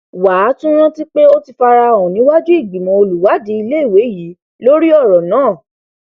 wà á tún rántí pé ó ti fara hàn níwájú ìgbìmọ olùwádìí iléèwé yìí lórí ọrọ náà